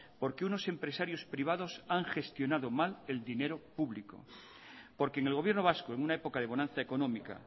porque unos empresarios privados han gestionado mal el dinero público porque en el gobierno vasco en una época de bonanza económica